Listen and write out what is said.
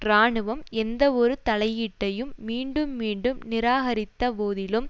இராணுவம் எந்தவொரு தலையீட்டையும் மீண்டும் மீண்டும் நிராகரித்த போதிலும்